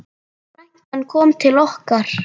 Frænkan kom til okkar.